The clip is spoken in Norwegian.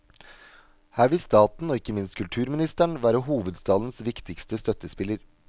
Her vil staten og ikke minst kulturministeren være hovedstadens viktigste støttespiller.